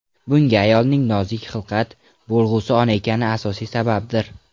Bunga ayolning nozik xilqat, bo‘lg‘usi ona ekani asosiy sababdir.